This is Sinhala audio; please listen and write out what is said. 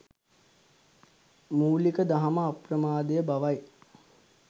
මූලික දහම අප්‍රමාදය බවයි.